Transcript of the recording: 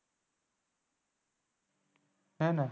આના